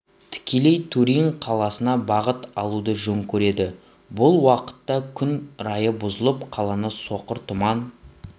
тікелей турин қаласына бағыт алуды жөн көреді бұл уақытта күн райы бұзылып қаланы соқыр тұман